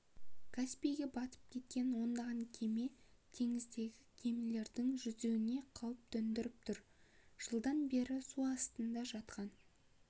каспийге батып кеткен ондаған кеме теңіздегі кемелердің жүруіне қауіп төндіріп тұр жылдан бері су астында жатқан